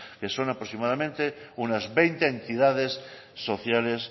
que son aproximadamente unas veinte entidades sociales